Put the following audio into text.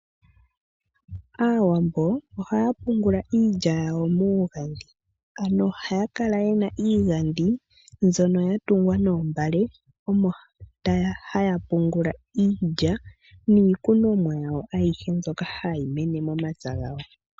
Aawambo ohaya pungula iilya yawo muuhandhi. Ano ohaya kala yena iigandhi mbyono hayi tungwa noombale omo haya pungula iilya niikunomwa yawo ayihe mbyoka hayi mene momapya gawo.